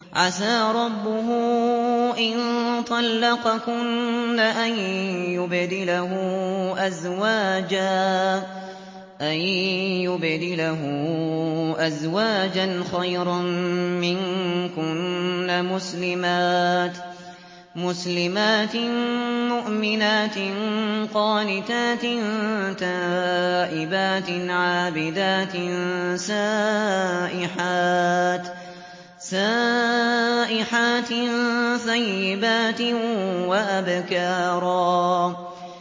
عَسَىٰ رَبُّهُ إِن طَلَّقَكُنَّ أَن يُبْدِلَهُ أَزْوَاجًا خَيْرًا مِّنكُنَّ مُسْلِمَاتٍ مُّؤْمِنَاتٍ قَانِتَاتٍ تَائِبَاتٍ عَابِدَاتٍ سَائِحَاتٍ ثَيِّبَاتٍ وَأَبْكَارًا